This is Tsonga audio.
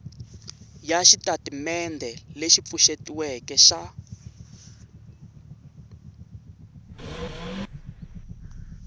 ya xitatimendhe lexi pfuxetiweke xa